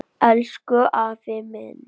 Elsku afi minn.